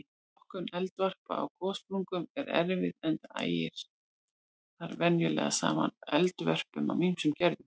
Flokkun eldvarpa á gossprungum er erfið enda ægir þar venjulega saman eldvörpum af ýmsum gerðum.